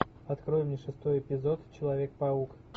открой мне шестой эпизод человек паук